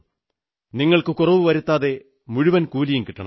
നിങ്ങൾക്ക് കുറവു വരുത്താതെ മുഴുവൻ കൂലിയും കിട്ടണം